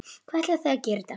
Hvað ætlið þið að gera í dag?